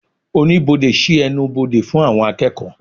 Oníbodè sí ẹnubodè fún àwọn akeeko